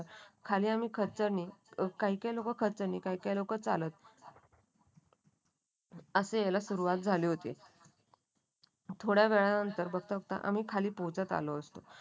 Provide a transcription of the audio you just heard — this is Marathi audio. आणि आम्ही खचर नि काही काही लोकं खचर नि काही काही लोकं चालत आशयाला सुरुवात झाली होती. थोड्या वेळानंतर बघता बघता आम्ही खाली पोहोचत आलो असतो.